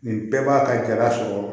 Nin bɛɛ b'a ka jala sɔrɔ